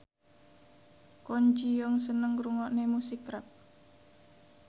Kwon Ji Yong seneng ngrungokne musik rap